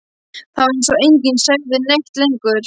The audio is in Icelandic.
Það var eins og enginn segði neitt lengur.